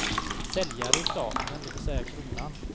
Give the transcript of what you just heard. Säljare är staten, det vill säga kronan.